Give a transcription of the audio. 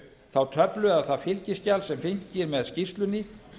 þá töflu eða það fylgiskjal sem fylgir með skýrslunni